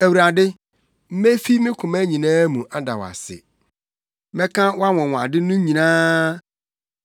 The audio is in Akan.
Awurade, mefi me koma nyinaa mu ada wo ase. Mɛka wʼanwonwade no nyinaa.